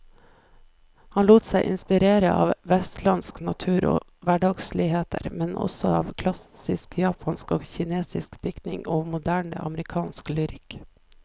Han lot seg inspirere av vestlandsk natur og hverdagsligheter, men også av klassisk japansk og kinesisk diktning og moderne amerikansk lyrikk.